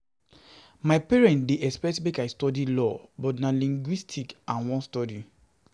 My parents dey expect make I study Law but na Linguistics I wan study.